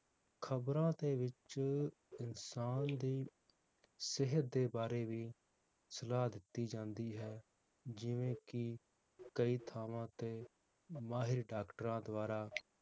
ਖਬਰਾਂ ਦੇ ਵਿਚ ਇਨਸਾਨ ਦੀ ਸਿਹਤ ਦੇ ਬਾਰੇ ਵੀ ਸਲਾਹ ਦਿੱਤੀ ਜਾਂਦੀ ਹੈ ਜਿਵੇ ਕਿ ਕਈ ਥਾਵਾਂ ਤੇ ਮਾਹਿਰ ਡਾਕਟਰਾਂ ਦਵਾਰਾ